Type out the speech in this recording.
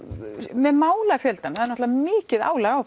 með málafjöldann það er náttúrulega mikið álag á